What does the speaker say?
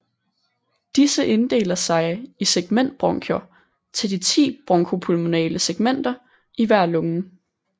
Disse deler sig i segmentbronkier til de 10 bronko pulmonale segmenter i hver lunge